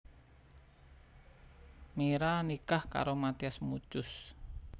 Mira nikah karoMathias Muchus